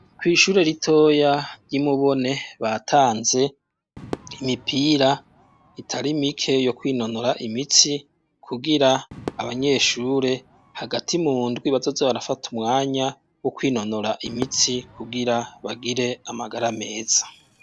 Kw'ishure ritoya ry'i Mubone batanze imipira itari mike yo kwinonora imitsi kugira abanyeshure hagati mu ndwi bazoze barafata umwanya wo kwinonora imitsi kugira bagire amagara meza.